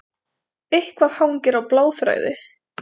Eitthvað hangir á bláþræði